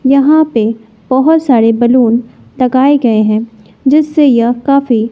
यहां पे बहोत सारे बैलून टगाए गए हैं जिससे यह काफी--